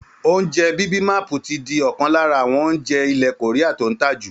Oúnjẹ bibimapu ti di ọ̀kan lára àwọn oúnjẹ ilẹ̀ Korea tó ń tà jù